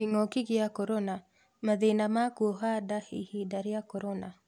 Kĩng'oki gĩa korona:mathĩna ma kuoha nda ihinda rĩa corona